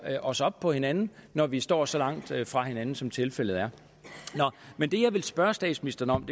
os op på hinanden når vi står så langt fra hinanden som tilfældet er men det jeg ville spørge statsministeren om